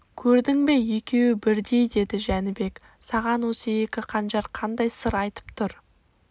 көрдің бе екеуі бірдей деді жәнібек саған осы екі қанжар қандай сыр айтып тұр